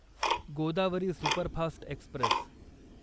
Godavari superfast Express